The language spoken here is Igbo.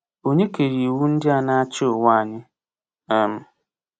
Ònye kere iwu ndị na-achị ụwa anyị? um